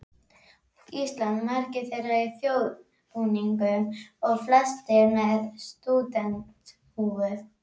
Íslands, margir þeirra í þjóðbúningum og flestir með stúdentshúfur.